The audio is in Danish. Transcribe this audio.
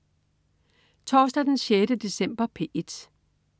Torsdag den 6. december - P1: